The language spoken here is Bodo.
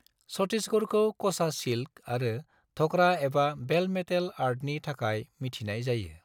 छत्तीसगढ़खौ 'क'सा सिल्क' आरो 'ढ'करा एबा बेल मेटल' आर्टनि थाखाय मिथिनाय जायो।